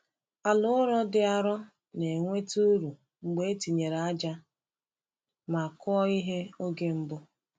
Ala ụrọ dị arọ na-enweta uru mgbe e tinyere ájá ma kụọ ihe oge mbụ.